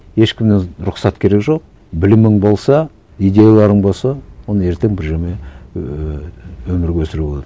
ешкімнен рұқсат керек жоқ білімің болса идеяларың болса онда ертең бірдеңе ііі өмірге өсіруге болады